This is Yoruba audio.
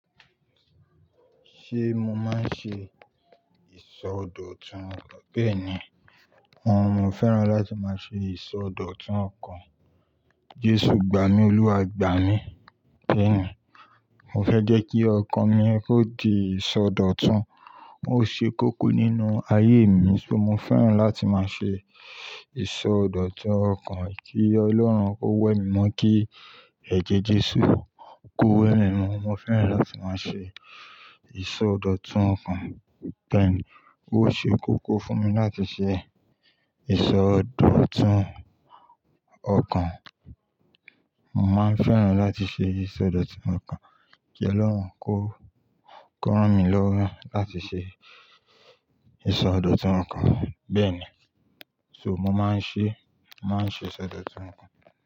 Ṣé mo máa ń ṣe ìsọdọ̀tun? Bẹ́ẹ̀ ni, mo fẹ́ràn láti máa ṣe ìsọdọ̀tun ọkàn. Jesu gba mi, Olúwa gba mi. Bẹ́ẹ̀ ni, mo fẹ́ jẹ́ kí ọkàn mi ó di ìsọdọ̀tun, ó ṣe kókó nínú ayé mi. Se mo fẹ́ràn láti máa ṣe ìsọdọ̀tun ọkàn kí Ọlọ́run ó wẹ mí mọ́ kí ẹ̀jẹ̀ Jesu kó wẹ mí mọ́. Mo fẹ́ràn láti máa ṣe ìsọdọ̀tun ọkàn. Bẹ́ẹ̀ ni, ó ṣe kókó fún mi láti ṣe ìsọdọ̀tun ọkàn. Mo máa ń fẹ́ràn láti ṣe ìsọdọ̀tun ọkàn kí Ọlọ́run kó, kó rán mi lọ́wọ́ láti ṣe ìsọdọ̀tun ọkàn. Bẹ́ẹ̀ ni, so mo máa ń ṣe, màá ń ṣe ìsọdọ̀tun ọkàn.